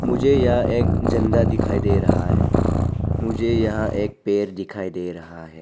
मुझे यह एक झंडा दिखाई दे रहा है मुझे जहां एक पेड़ दिखाई दे रहा है।